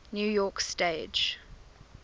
new york stage